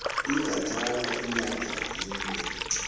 ingathatha inyanga yinye